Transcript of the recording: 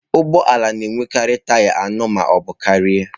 Ụgbọ ala na-enwekarị taya anọ ma ọ bụ karịa.